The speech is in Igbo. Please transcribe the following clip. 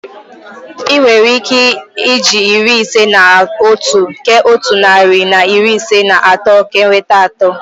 Ị nwere ike eji iri ise na otu kee otu narị na iri ise na atọ ka enweta atọ.